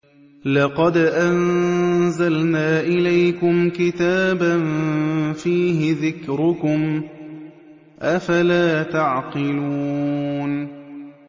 لَقَدْ أَنزَلْنَا إِلَيْكُمْ كِتَابًا فِيهِ ذِكْرُكُمْ ۖ أَفَلَا تَعْقِلُونَ